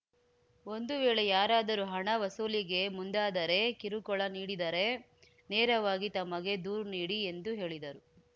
ಒಂದು ವೇಳೆ ಯಾರಾದರೂ ಹಣ ವಸೂಲಿಗೆ ಮುಂದಾದರೆ ಕಿರುಕುಳ ನೀಡಿದರೆ ನೇರವಾಗಿ ತಮಗೆ ದೂರು ನೀಡಿ ಎಂದು ಹೇಳಿದರು